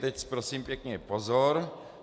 Teď prosím pěkně pozor.